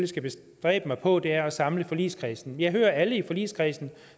skal bestræbe mig på er at samle forligskredsen jeg hører alle i forligskredsen